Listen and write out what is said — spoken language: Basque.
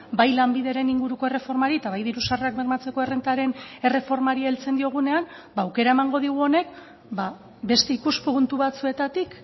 bai lanbideren inguruko erreformari eta bai diru sarrerak bermatzeko errentaren erreformari heltzen diogunean aukera emango digu honek beste ikuspuntu batzuetatik